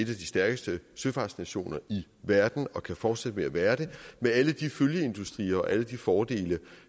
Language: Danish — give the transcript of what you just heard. de stærkeste søfartsnationer i verden og kan fortsætte med at være det med alle de følgeindustrier og alle de fordele